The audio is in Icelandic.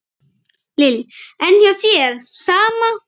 Lillý: En hjá þér, sama?